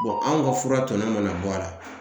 anw ka fura tɔnɔ mana bɔ a la